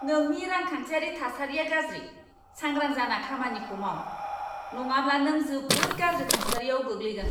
नोंनि रांखान्थियारि थासारिया गाज्रि! सांग्रां जाना खामानिखौ माव, नङाब्ला नों जोबोद गाज्रि थासारियाव गोग्लैगोन!